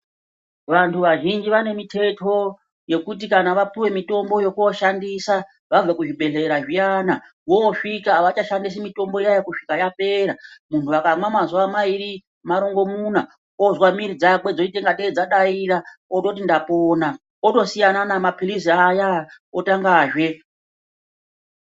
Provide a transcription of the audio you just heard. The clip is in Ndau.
Vantu vazhinji vane miteto yekuti kana vapuwe mitombo yekushandisa vabve kuzvibhehlera zviyana vosvika avachashandisi mitombo iyani kusvika yapera. Muntu akamwa mazuwa mairi marongomuna ozwa mwiri dzake dzoita ngatei dzadaira ototi ndapona otosiyana nemapilizi aya otangazve.